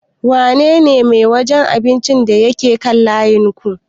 Wa ne ne mai wajen abincin da ya ke kaan layinku?